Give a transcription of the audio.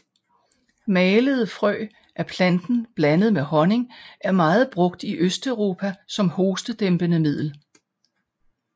Malede frø af planten blandet med honning er meget brugt i Østeuropa som hostedæmpende middel